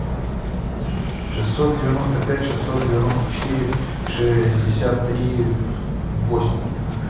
шестьсот девяносто пять шестьсот девяносто четыре шестьдесят три восемь